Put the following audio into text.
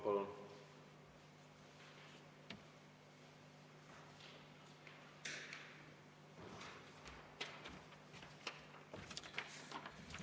Palun!